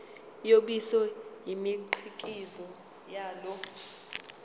yobisi nemikhiqizo yalo